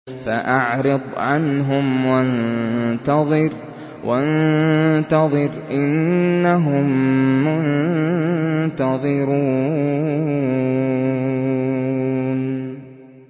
فَأَعْرِضْ عَنْهُمْ وَانتَظِرْ إِنَّهُم مُّنتَظِرُونَ